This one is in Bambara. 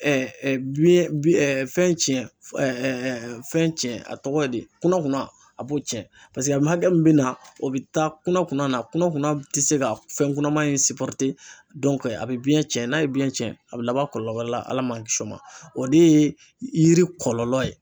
biɲɛn bi fɛn tiɲɛ fɛn tiɲɛ a tɔgɔ ye di kunakunan a b'o tiɲɛ paseke a hakɛ min bɛ na o bɛ taa kunakunn na kunakunna tɛ se ka fɛn kunaman in a bɛ biɲɛ tiɲɛ n'a ye biɲɛn tiɲɛ a bɛ laban kɔlɔlɔ wɛrɛ la, ala man kisi o ma o de ye yiri kɔlɔlɔ ye.